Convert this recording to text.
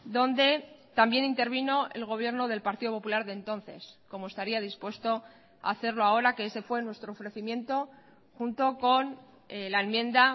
donde también intervino el gobierno del partido popular de entonces como estaría dispuesto a hacerlo ahora que ese fue nuestro ofrecimiento junto con la enmienda